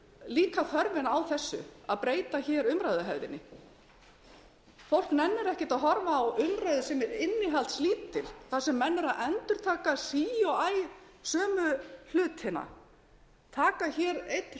líka þörfina á þessu að breyta umræðuhefðinni fólk nennir ekki að horfa á umræðu sem er innihaldslítil þar sem menn eru að endurtaka sí og æ sömu hlutina taka einn